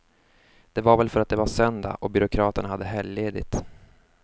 Det var väl för att det var söndag och byråkraterna hade helgledigt.